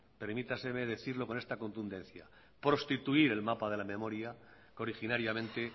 permítaseme decirlo con esta contundencia prostituir el mapa de la memoria que originariamente